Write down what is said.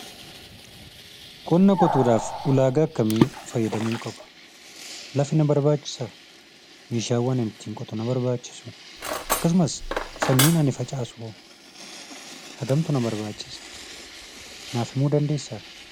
Qonna qotuudhaaf ulagaa akkami faayyadamuu qaba? Lafti na barbaachisaa? Meeshaawwaan ani ittin qotuu na barbaachisuu? Akkasumas, sanyiin ani facaasuho? Hangamtu na barbaachisa? naaf himuu dandeessaa?